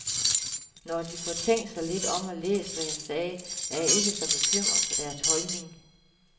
Når de får tænkt sig lidt om og læst, hvad jeg sagde, er jeg ikke så bekymret for deres holdning.